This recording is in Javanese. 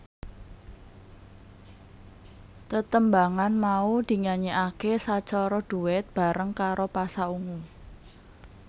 Tetembangan mau dinyanyikaké sacara duet bareng karo Pasha Ungu